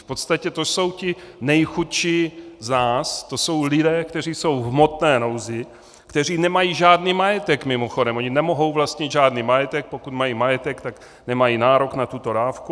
V podstatě to jsou ti nejchudší z nás, to jsou lidé, kteří jsou v hmotné nouzi, kteří nemají žádný majetek mimochodem, oni nemohou vlastnit žádný majetek - pokud mají majetek, tak nemají nárok na tuto dávku.